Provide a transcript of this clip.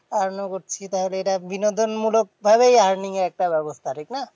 Earn ও করছি। তাহলে এটা বিনোদনমূলক ভাবেই earning এর একটা ব্যবস্থা ঠিক না?